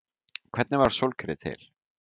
Hvernig varð sólkerfið til?